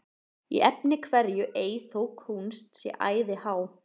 Í efni hverju ei þó kúnst sé æði há,